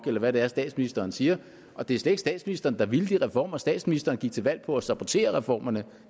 eller hvad det er statsministeren siger og det er slet ikke statsministeren der ville de reformer for statsministeren gik til valg på at sabotere reformerne